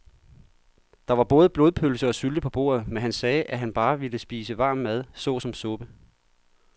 Der var både blodpølse og sylte på bordet, men han sagde, at han bare ville spise varm mad såsom suppe.